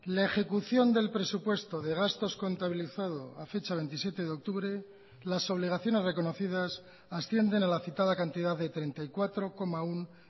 la ejecución del presupuesto de gastos contabilizado a fecha veintisiete de octubre las obligaciones reconocidas ascienden a la citada cantidad de treinta y cuatro coma uno